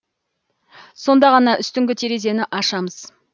сонда ғана үстіңгі терезені ашамыз